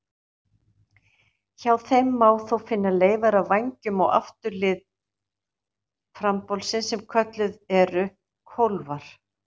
Hjá þeim má þó finna leifar af vængjum á afturlið frambolsins sem kölluð eru kólfar.